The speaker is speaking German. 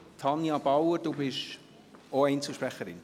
Tanja Bauer, sind Sie auch Einzelsprecherin?